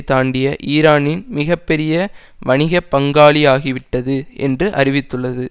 தாண்டிய ஈரானின் மிக பெரிய வணிக பங்காளியாகிவிட்டது என்று அறிவித்துள்ளது